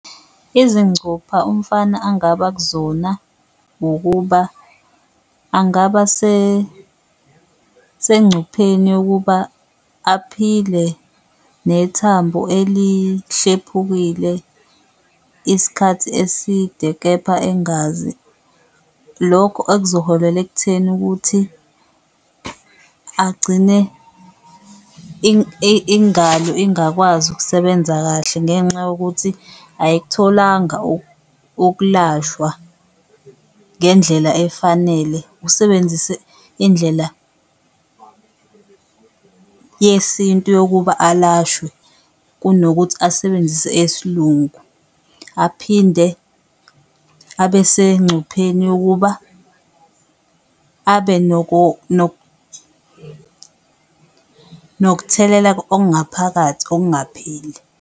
Izincupha umfana angaba kuzona ukuba angaba sencupheni yokuba aphile nethambo elihlephukile iskhathi futhi eside kepha engazi, lokho akuzoholela ekutheni ukuthi agcine ingalo ingakwazi ukusebenza kahle ngenxa yokuthi ayikutholanga ukulashwa ngendlela efanele. Usebenzise indlela yesintu yokuba alashwe kunokuthi asebenzise eyesiLungu aphinde abesengcupheni yokuba nokutheleleka okungaphakathi okungapheli.